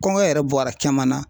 Kɔngɔ yɛrɛ bɔra caman na.